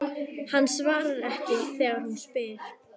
Hann svarar ekki þegar hún spyr.